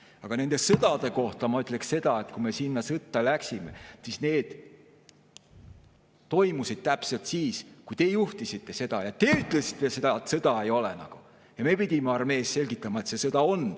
Aga nende sõdade kohta ma ütleksin, et kui me sinna sõtta läksime, siis see toimus täpselt siis, kui teie juhtisite, ja teie ütlesite, et sõda nagu ei ole, aga meie pidime armees selgitama, et sõda on.